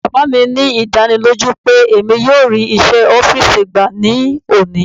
Baba mi ní ìdánilójú pé emi yóò rí iṣẹ́ ọ́fìsì gbà ní òní.